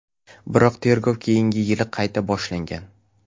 Biroq tergov keyingi yili qayta boshlangan.